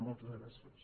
moltes gràcies